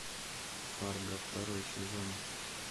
фарго второй сезон